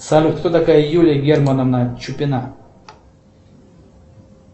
салют кто такая юлия германовна чупина